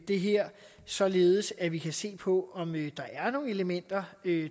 det her således at vi kan se på om der er nogle elementer